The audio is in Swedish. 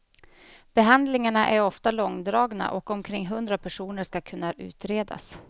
Behandlingarna är ofta långdragna och omkring hundra personer skall kunna utredas.